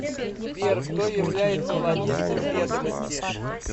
сбер кто является владельцем ведомости